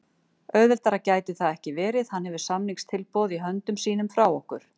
Auðveldara gæti það ekki verið. Hann hefur samningstilboð í höndum sínum frá okkur.